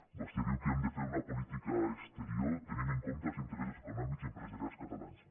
vostè diu que hem de fer una política exterior tenint en compte els interessos econòmics i empresarials catalans